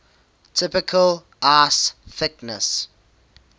typical ice thickness